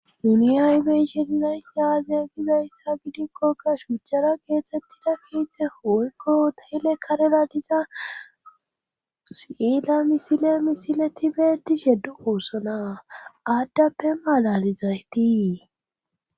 uni aybeyshe dinayssa aaziya gibayssa gidikkokka shuchchara geexettida kiitzte woykko tayele karera diza si7iela misile misile tibedi sheddu oosona aaddappe malalizaytii